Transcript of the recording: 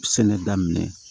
Sɛnɛ daminɛ